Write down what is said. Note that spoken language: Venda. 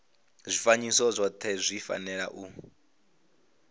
zwifanyiso zwothe zwi fanela u